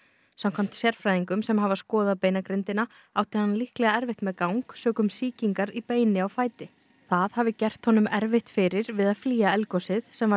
samkvæmt sérfræðingum sem hafa skoðað beinagrindina átti hann líklega erfitt með gang sökum sýkingar í beini á fæti það hafi gert honum erfitt fyrir við að flýja eldgosið sem varð